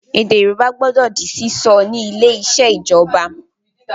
Èdè Yorùbá gbọdọ di sísọ ni ilé ìṣèjọba